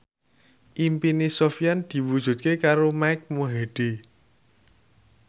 impine Sofyan diwujudke karo Mike Mohede